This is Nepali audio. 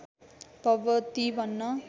भगवती भन्न